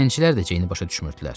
Zəncilər də Ceyni başa düşmürdülər.